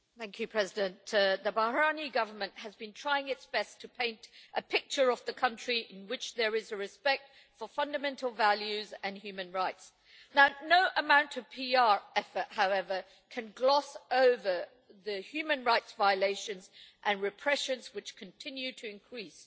Mr President, the Bahraini Government has been trying its best to paint a picture of the country in which there is respect for fundamental values and human rights, but no amount of PR effort can gloss over the human rights violations and the repression, which continue to increase.